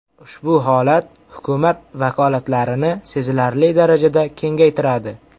Ushbu holat hukumat vakolatlarini sezilarli darajada kengaytiradi.